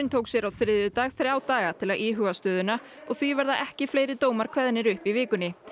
tók sér á þriðjudag þrjá daga til að íhuga stöðuna og því verða ekki fleiri dómar kveðnir upp í vikunni